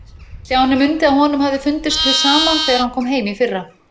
Stjáni mundi að honum hafði fundist hið sama þegar hann kom heim í fyrra.